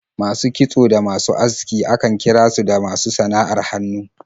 Masu kitso da masu aski akan kira su da masu sana'ar hannu.